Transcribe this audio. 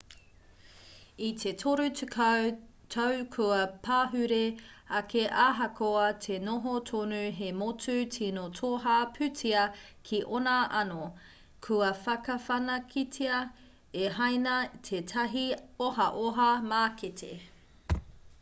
i te toru tekau tau kua pahure ake ahakoa te noho tonu hei motu tino toha pūtea ki ōna anō kua whakawhanaketia e hāina tētahi ohaoha mākete